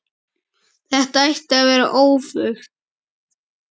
Þetta ætti að vera öfugt.